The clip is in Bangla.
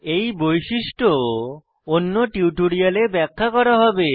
এই বৈশিষ্ট্য অন্য টিউটোরিয়ালে ব্যাখ্যা করা হবে